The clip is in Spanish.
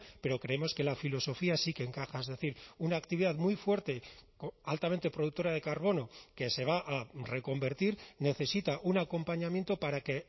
pero creemos que la filosofía sí que encaja es decir una actividad muy fuerte altamente productora de carbono que se va a reconvertir necesita un acompañamiento para que